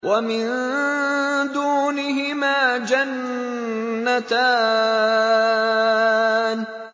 وَمِن دُونِهِمَا جَنَّتَانِ